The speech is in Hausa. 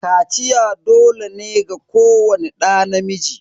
Kaciya dole ne ga kowani ɗa namiji.